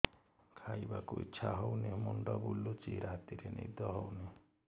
ଖାଇବାକୁ ଇଛା ହଉନି ମୁଣ୍ଡ ବୁଲୁଚି ରାତିରେ ନିଦ ହଉନି